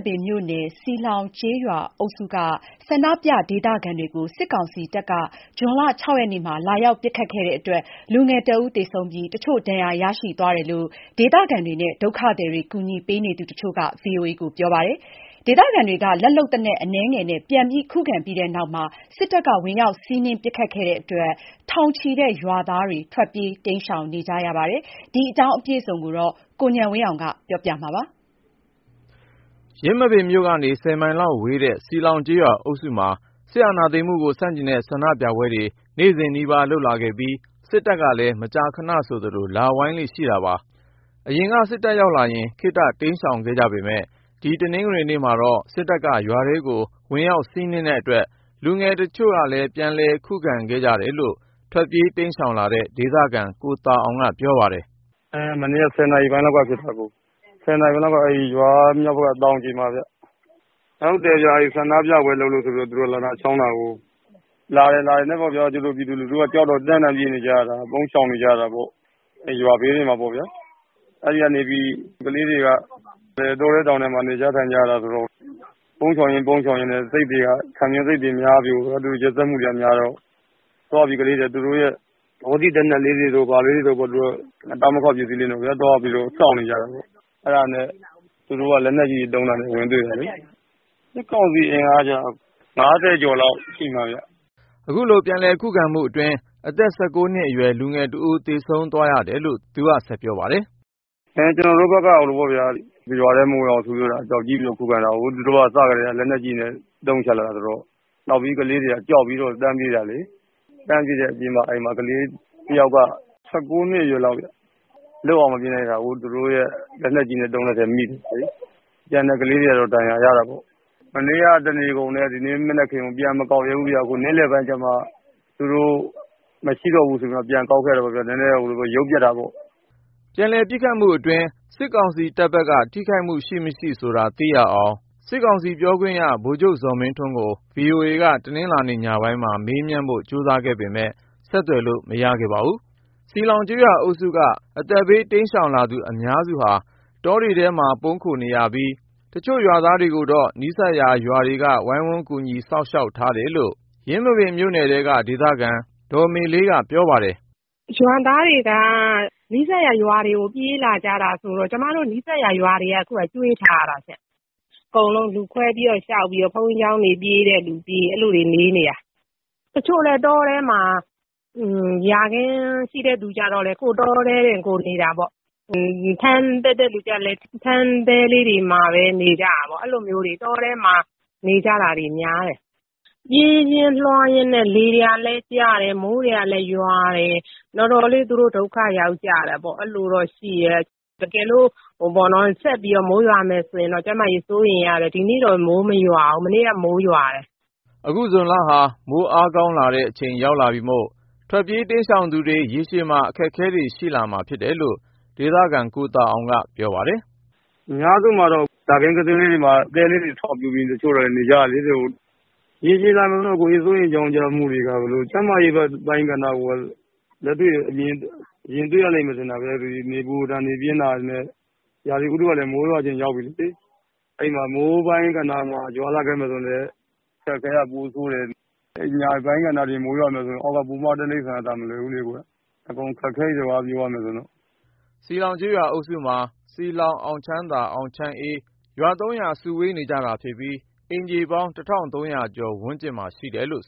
ပင်မြို့နယ် စည်လှောင်ကျေးရွာအုပ်စုက ဆန္ဒပြ ဒေသခံတွေကို စစ်ကောင်စီတပ်က ဇွန်လ ရက်နေ့မှာ လာရောက်ပစ်ခတ်တဲ့အတွက် လူငယ်တဦး သေဆုံးပြီး တချို့ ဒဏ်ရာရရှိသွားတယ်လို့ ဒေသခံတွေနဲ့ ဒုက္ခသည်တွေ ကူညီပေးနေသူ တချို့က ပြောပါတယ်။ ဒေသခံတွေက လက်လုပ်သေနတ်အနည်းငယ်နဲ့ ပြန်လည် ခုခံခဲ့ပြီးနောက် စစ်တပ်က ဝင်ရောက် စီးနင်းပစ်ခတ်တဲ့အတွက် ထောင်ချီတဲ့ ရွာသားတွေ ထွက်ပြေး တိမ်းရှောင်နေကြရတာပါ။ ဒီအကြောင်း ကိုဉာဏ်ဝင်းအောင်က ပြောပြမှာပါ။ ယင်းမာပင်မြို့ကနေ မိုင်လောက်ဝေးတဲ့ စည်လှောင်ကျေးရွာအုပ်စုမှာ စစ်အာဏာသိမ်းမှုကို ဆန့်ကျင်တဲ့ ဆန္ဒပြပွဲတွေ နေ့စဉ်နီးပါး လုပ်လာခဲ့ပြီး စစ်တပ်ကလည်း မကြာခဏဆိုသလို လာဝိုင်းလေ့ရှိတာပါ။ အရင်က စစ်တပ်ရောက်လာရင် ခေတ္တ တိမ်းရှောင်ခဲ့ကြပေမယ့် ၊ ဒီတနင်္ဂနွေနေ့မှာတော့ စစ်တပ်က ရွာထဲကို ဝင်ရောက်စီးနင်းတဲ့အတွက် လူငယ်တချို့က ပြန်ခုခံခဲ့ကြတယ်လို့ ထွက်ပြေးတိမ်းရှောင်လာတဲ့ ဒေသခံ ကိုသာအောင်က ပြောပါတယ်။ “မနေ့က ၁၀ နာရီပိုင်းလောက်က ဖြစ်တယ်အကို ၁၀ နာရီပိုင်းလောက်က ရွာမြောက်ဘက်က တောင်ခြေမှာခင်ဗျ။ ကျနော်တို့ဆီမှာ ဆန္ဒပြပွဲလုပ်လို့ သူတို့က လာချောင်းတာအကို လာတော့ ပြည်သူလူထုက ကြောက်တော့ ပြေးနေကြတာအကို ။ ပုန်းရှောင်နေကြတာပေါ့။ ရွာဘေးတွေမှာပေါ့ဗျာ ။ အဲဒီကနေပြီး ကလေးတွေက တောထဲတောင်ထဲမှာ နေကြထိုင်ကြရတာဆိုတော့ ပုန်းရှောင်ရင်း ပုန်းရှောင်ရင် ခံပြင်းစိတ်တွေများပြီး ဒီလို ရက်စက်မှုတွေကများတော့ သွားပြီးကလေးတွေက သူတို့ရဲ့ ဘောစေ့ သေနတ်လေးတွေတို့ဘာလေးတွေတို့နဲ့ စောင့်နေကြတာပေါ့။ အဲဒါနဲ့ သူတို့က လက်နက်ကြီးသုံးတာနဲ့ ဝင်တွေ့တယ်လေ။ စစ်ကောင်စီအင်အားက ၅၀ ကျော်လောက်ရှိမှာခင်ဗျ။” အခုလို ပြန်လည်ခုခံမှုအတွင်း အသက် နှစ်အရွယ် လူငယ်တဦး သေဆုံးသွားရတယ်လို့ သူက ဆက်ပြောပါတယ်။ “ကျနော်တို့ဘက်က ရွာထဲမဝင်ရဘူး ခုခံတာကို သူတို့က စပြီးတော့ လက်နက်ကြီးတွေနဲ့ အသုံးချလာတာဆိုတော့ နောက်ပြီး ကလေးတွေက ကြောက်ပြီးတန်းပြေးတာလေ။ တန်းပြေးတဲ့အချိန်မှာ ကလေးတယောက်က ၁၉ နှစ်အရွက်လောက် ခင်ဗျ လွတ်အောင်မပြေးနိုင်တာကို သူတို့လက်နက်ကြီးနဲ့ သုံးတဲ့အထဲ မိသွားတယ်။ ကျန်တဲ့ကလေးတွေကတော့ ဒဏ်ရာရတာပေါ့။ မနေ့က တနေကုန်နဲ့ ဒီနေ့မနက်ခင်းကို ပြန်မကောက်ရဲဘူးခင်ဗျ။ နေ့လည်ပိုင်းကျမှ သူတို့ မရှိတော့ဘူးဆိုမှ ပြန်ကောက်ခဲ့တာပေါ့ခင်ဗျ။ နည်းနည်းရုပ်ပျက်တာပေါ့။” ပြန်လည်ပစ်ခတ်မှုအတွင်း စစ်ကောင်စီတပ်ဖက်က ထိခိုက်မှု ရှိမရှိဆိုတာ သိရအောင် စစ်ကောင်စီပြောခွင့်ရ ဗိုလ်ချုပ် ဇော်မင်းထွန်းကို VOA က တနင်္လာညပိုင်းမှာ မေးမြန်းဖို့ ကြိုးစားပေမယ့် ဆက်သွယ်လို့မရခဲ့ပါဘူး။ စည်လှောင်ကျေးရွာအုပ်စုက အသက်ဘေး တိမ်းရှောင်လာသူ အများစုဟာ တောတွေထဲမှာ ပုန်းခိုနေရပြီး ၊ တချို့ရွာသားတွေကိုတော့ နီးစပ်ရာ ရွာတွေက ဝိုင်းဝန်းကူညီ စောင့်ရှောက် ထားတယ်လို့ ယင်းမာပင်မြို့နယ်ထဲက ဒေသခံ ဒေါ်မေလေးက ပြောပါတယ်။ “ရွာသားတွေက နီးစပ်ရာ ရွာတွေကို ပြေးလာကြတာဆိုတော့ ကျမတို့ နီးစပ်ရာ ရွာတွေက ကျွေးထားရတာရှင့်။ အကုန်လုံး လူခွဲပြီးတော့ ဘုန်းကြီးကျောင်းတွေပြေးတဲ့လူပြေး အဲလိုနေနေတာ ။ တချို့လည်း တောထဲမှာ ယာခင်းရှိတဲ့လူတွေကလည်း တောထဲမှာနေတာပေါ့။ ထန်းတက်တဲ့လူကလည်း ထန်းတဲလေးမှာပဲ နေကြတာပေါ့ အဲလိုမျိုးတွေ တောထဲမှာ နေကြတာတွေများတယ်။ ပြေးရင်းလွှားရင်းနဲ့ လေတွေလည်းတိုက်တယ်၊ မိုးတွေကလည်း ရွာတယ် တော်တော်လေး သူတို့ ဒုက္ခရောက်ကြတယ်ပေါ့ အဲလိုတော့ရှိတယ်။ တကယ်လို့ ဆက်ပြီးတော့ မိုးရွာမယ်ဆိုရင်တော့ ကျန်းမာရေးစိုးရိမ်ရတယ်။ ဒီနေ့တော့မိုး မရွာဘူး၊ မနေ့က မိုးရွာတယ်။” အခုဇွန်လဟာ မိုးအားကောင်းတဲ့အချိန် ရောက်လာပြီမို့ ထွက်ပြေးတိမ်းရှောင်နေသူတွေ ရေရှည်မှာ အခက်အခဲတွေ ရှိလာမှာ ဖြစ်တယ်လို့ ဒေသခံ ကိုသာအောင်က ပြောပါတယ်။ “အများစုကတော့ ယာခင်းသေးသေးလေးတွေမှာ တဲလေးတွေဆောက်ပြီး တချို့လည်းနေကြတယ်လေ။ ရေရှည်စိုးရိမ်ကြောင့်ကြမှုတွေကတော့ ကျန်းမာရေးပိုင်းကဏ္ဍကတော့ လက်တွေ့ မြင်တွေ့ရမယ်ထင်တာပဲ ၊ နေပူဒဏ် နေပြင်းတာနဲ့ ရာသီဥတုကလည်း မိုးရွာချိန်ရောက်ပြီလေ။ အဲဒီမှာ မိုးပိုင်းကဏ္ဍမှာ ရွာမယ်ဆိုရင်လည်း အခက်အခဲက ပိုဆိုးတယ်။ အဲဒီအညာပိုင်းကဏ္ဍတွေမှာ မိုးရွာမယ်ဆိုရင် အောက်က ပိုးမွားတိရိစ္ဆာန်တွေက မလွယ်ဘူးလေ ၊ အကုန်အခက်အခဲတွေပြောရမယ်ဆိုရင်တော့။” စည်လှောင်ကျေးရွာအုပ်စုမှာ စည်လှောင်၊ အောင်ချမ်းသာ ၊ အောင်ချမ်းအေး ရွာ ရွာ စုဝေးနေကြတာဖြစ်ပြီး အိမ်ခြေပေါင်း ကျော် ဝန်းကျင်မှာရှိပါတယ်။